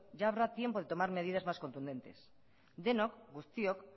ya habrá tiempo de tomar medidas más contundentes denok guztiok